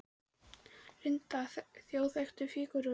Linda: Þjóðþekktar fígúrur?